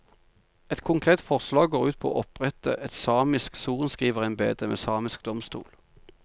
Et konkret forslag går ut på å opprette et samisk sorenskriverembede med samisk domstol.